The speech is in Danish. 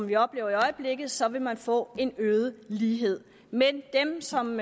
vi oplever i øjeblikket så vil man få en øget lighed men dem som